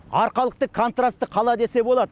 арқалықты контрасты қала десе болады